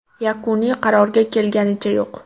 Yakuniy qarorga kelinganicha yo‘q.